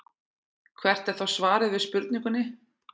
Hvert er þá svarið við spurningunni?